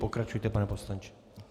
Pokračujte, pane poslanče.